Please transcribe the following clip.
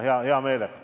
Jürgen Ligi, palun!